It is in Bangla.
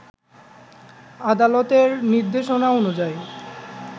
আদালতের নির্দেশনা অনুযায়ী